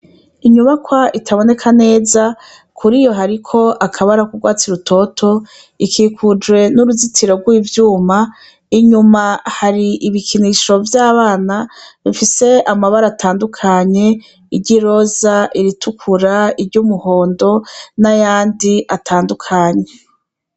Inyubaka itaboneka neza riboneka ikikujwe nuruzitiro rwivyuma inyuma hari ibikinisho vyabana bifise amabara tandukanye iryiroza iritukura iryumuhondo nayandi atandukanye